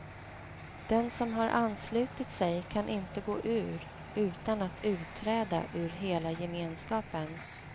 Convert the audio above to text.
Den som har anslutit sig kan inte gå ur utan att utträda ur hela gemenskapen.